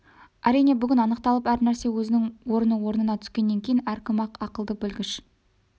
әрине бүгін анықталып әр нәрсе өзінің орны орнына түскеннен кейін әркім-ақ ақылды білгіш